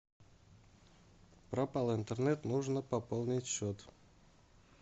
пропал интернет нужно пополнить счет